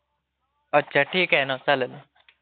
अच्छा ठीक आहे ना चालेल..